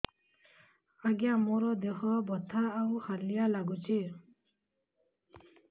ଆଜ୍ଞା ମୋର ଦେହ ବଥା ଆଉ ହାଲିଆ ଲାଗୁଚି